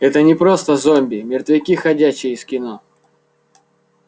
это не просто зомби мертвяки ходячие из кино